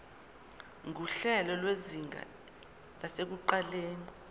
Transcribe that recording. nguhlelo lwezinga lasekuqaleni